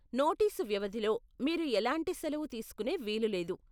Notice వ్యవధిలో మీరు ఎలాంటి సెలవు తీసుకునే వీలు లేదు.